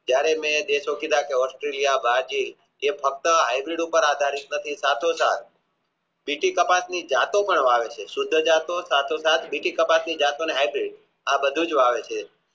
જયારે મેં દેશો કીધા ઓસ્ટ્રેલિયા બ્રાજીલ એ ફક્ત સુધી જતો સંતો સાત બીજી સપાટી ને આપ્યું આ બધું જ આવે છે